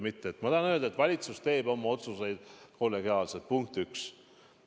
Ma tahan öelda, et valitsus teeb oma otsuseid kollegiaalselt, punkt üks.